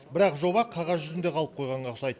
бірақ жоба қағаз жүзінде қалып қойғанға ұқсайды